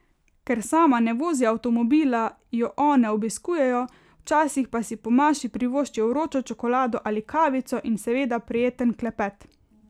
Ker sama ne vozi avtomobila, jo one obiskujejo, včasih pa si po maši privoščijo vročo čokolado ali kavico in seveda prijeten klepet.